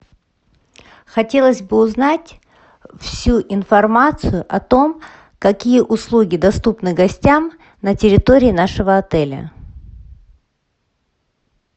хотелось бы узнать всю информацию о том какие услуги доступны гостям на территории нашего отеля